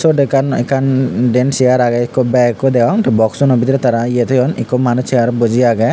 sot ekkan ekkan den siar age ekko beg ekko deong te boksuno bidire tara ye toyon ekko manus siarot buji age.